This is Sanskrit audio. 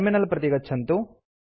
टर्मिनल प्रति गच्छन्तु